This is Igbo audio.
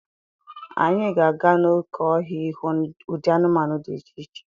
Anyị ga-aga n'oké ọhịa ịhụ ụdị anụmanụ dị iche iche.